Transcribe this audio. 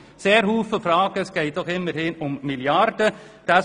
Es sind viele Fragen offen, obwohl es immerhin um Milliarden geht.